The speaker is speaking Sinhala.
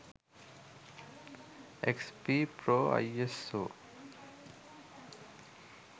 xp pro iso